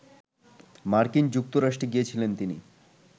মার্কিন যুক্তরাষ্ট্রে গিয়েছিলেন তিনি